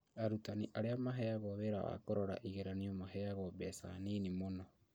Arutani arĩa maheagwo wĩra wa kũrora igeranio maheagwo mbeca nini mũno